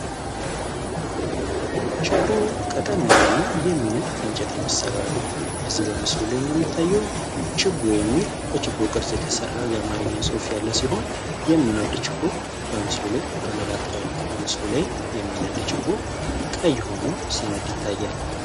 ችቦ ቀጠን ያለ እና ይህሚነድ ከእንጨት የሚሠራ ነው በዚህ በምስሉ ላይ እንደሚታየውም ችቦ የሚል በችቦ ቅርፅ የተሠራ የማርኛ ጾፍ ያለ ሲሆን የሚነድ ችቦ በምስሉ ላይ ተመላክቷል በምስሉ ላይም የሚነድ ችቦ ቀይ ሆኖ ሲነድ ይታያል፡፡